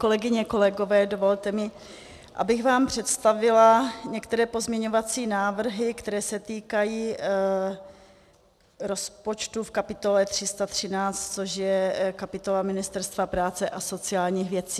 Kolegyně, kolegové, dovolte mi, abych vám představila některé pozměňovací návrhy, které se týkají rozpočtu v kapitole 313, což je kapitola Ministerstva práce a sociálních věcí.